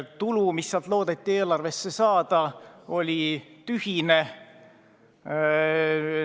Tulu, mis sealt loodeti eelarvesse saada, oli tühine.